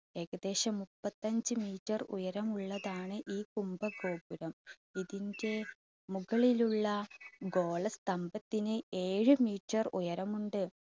ഏകദേശം മുപ്പത്തഞ്ച് meter ഉയരമുള്ളതാണ് ഈ കുംഭഗോപുരം ഇതിൻറെ മുകളിലുള്ള ഗോള സ്തംഭത്തിന് ഏഴ് meter ഉയരമുണ്ട്.